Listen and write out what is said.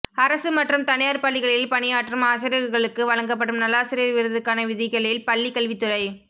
அரசு மற்றும் தனியார் பள்ளிகளில் பணியாற்றும் ஆசிரியர்களுக்கு வழங்கப்படும் நல்லாசிரியர் விருதுக்கான விதிகளில் பள்ளிக் கல்வித்துறை